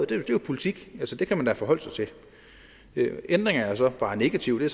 det er jo politik det kan man da forholde sig til ændringerne er så bare negative det